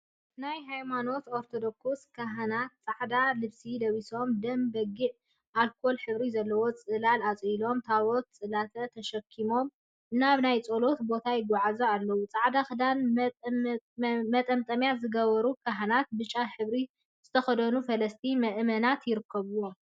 ናይ ሃይማኖት ኦርቶዶክስ ካህናት ፃዕዳ ልብሲ ለቢሶም ደም በጊዕን አልኮል ሕብሪን ዘለዎም ፅላላት አፅሊሎም ታቦት/ፅላት/ ተሸኪሞም ናብ ናይ ፀሎት ቦታ ይጓዓዙ አለው። ፃዕዳ ክዳንን መጠምጠምያን ዝገበሩ ካህናትን ብጫ ሕብሪ ዝተከደኑ ፈለስቲን ምእመናትን ይርከቡዎም።